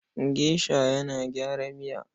Gesha yana gyara miya.